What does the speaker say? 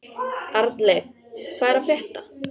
Arnleif, hvað er að frétta?